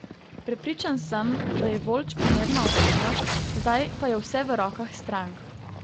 Prepričan sem, da je Voljč primerna osebnost, zdaj pa je vse v rokah strank.